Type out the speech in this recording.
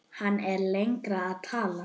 Hann er lengi að tala.